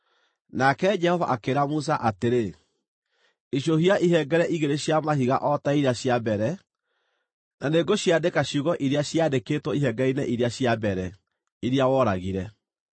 Nake Jehova akĩĩra Musa atĩrĩ, “Icũhia ihengere igĩrĩ cia mahiga o ta iria cia mbere, na nĩngũciandĩka ciugo iria ciaandĩkĩtwo ihengere-inĩ iria cia mbere, iria woragire.